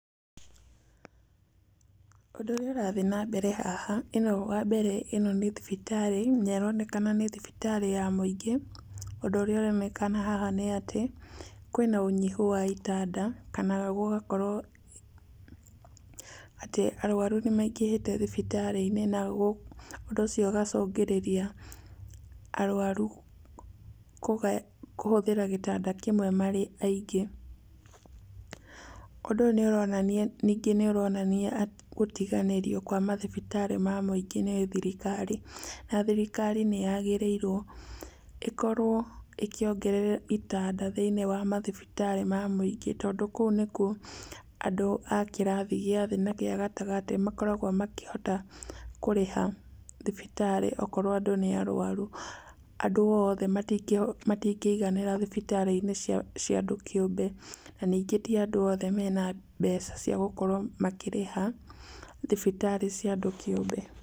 Ũndũ ũrĩa, ũrathiĩnambere haha, ĩno wambere ĩno nĩ thibitarĩ, na ĩronekana nĩ thibitarĩ ya mũingĩ. Ũndũ ũrĩa ũronekana haha nĩ atĩ, kwĩna ũnyihu wa itanda, kana gũgakorwo atĩ arwaru nĩmaingĩhĩte thibitarĩ-inĩ na ũndũ ũcio ũgacũngĩrĩria arwaru kũhũthĩra gĩtanda kĩmwe marĩ aingĩ. Ũndũ ũyũ niũronania, ningĩ nĩ ũronania gũtiganĩrio kwa mathibitarĩ ma mũingĩ nĩ thirikari. Na thirikari nĩ yagĩrĩirwo ĩkorwo ĩkĩongerera itanda thĩiniĩ wa mathibitarĩ ma mũingĩ tondũ kũu nĩkuo andũ a kĩrathi gĩa thĩ na kĩa gatagatĩ makoragwo makĩhota kũrĩha thibitarĩ. Akorwo andũ nĩ arwaru, andũ othe matingĩiganĩra thibitarĩ cia andũ kĩũmbe, na ningĩ ti andũ othe mena mbeca cia gũkorwo makĩrĩha thibitarĩ cia andũ kĩũmbe.